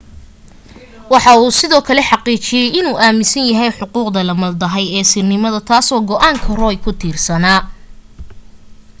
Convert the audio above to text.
waxa uu sidoo kale xaqiijiyay inuu aaminsan yahay xuquuqda la maldahay ee sirnimada taasoo go'aanka roe ku tiirsanaa